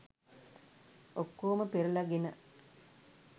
ඔක්කෝම පෙරලගෙන